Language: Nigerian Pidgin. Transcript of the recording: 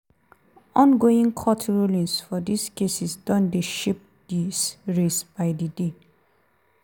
ongoing court rulings for dis cases don dey shape dis race by di day.